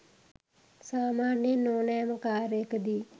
සාමාන්‍යයෙන් ඕනෑම කාර්යකදී